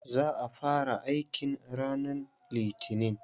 Za a fara aikin ranan litinin.